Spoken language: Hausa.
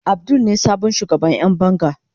Abdul ne sabon shugaban Yan banga.